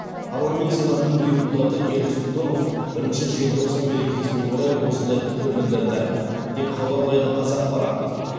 парламент сенатының депутаты ерік сұлтанов бірінші желтоқсан мерекесіне орай осындай пікір білдірді деп хабарлайды қазақпарат